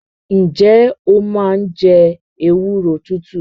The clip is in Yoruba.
Ǹjẹ́ o máa ń jẹ ewúro tútù?